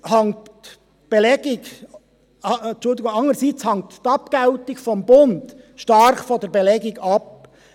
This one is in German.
Die Abgeltung des Bundes hängt jedoch stark von der Belegung ab.